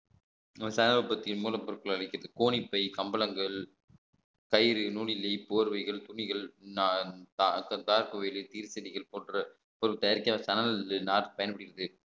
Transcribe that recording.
மூலப்பொருட்களை வைக்கிறது கோணிப்பை கம்பளங்கள் கயிறு நுனிலி போர்வைகள் துணிகள் நா~ தா~ தார் கோயில் போன்ற பொருள் தயாரிக்க சணல் நார் பயன்படுகிறது